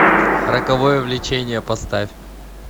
роковое влечение поставь